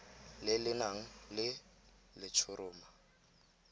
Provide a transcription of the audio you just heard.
le le nang le letshoroma